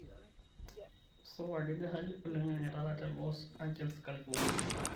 supa kejaa hali oloing'ang'e taata te los angeles california